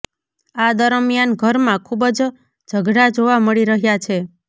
આ દરમિયાન ઘરમાં ખુબ જ ઝઘડા જોવા મળી રહ્યા છે